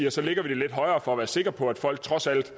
at så lægger vi det lidt højere for at være sikre på at folk trods alt